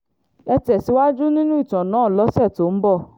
ẹ tẹ̀síwájú nínú ìtàn náà lọ́sẹ̀ tó ń bọ̀